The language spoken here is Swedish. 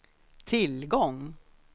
tillgång